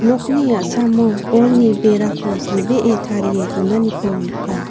nokni a·samo bolni berako silbee tarie donaniko nika.